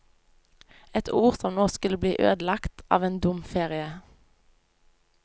Et ord som nå skulle bli ødelagt av en dum ferie.